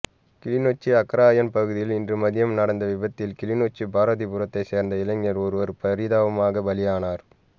கிளிநொச்சி அக்கராயன் பகுதியில் இன்று மதியம் நடந்த விபத்தில் கிளிநொச்சி பாரதிபுரத்தை சேர்ந்த இளைஞர் ஒருவர் பரிதாபமாக பலியானார்